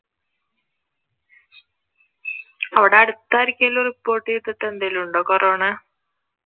അവിടെ അടുത്ത് ആർക്കേലും report ചെയ്തിട്ടോ എന്തെങ്കിലും ഉണ്ടോ കൊറോണ?